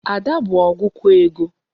Ada bụ ọgụkọ ego.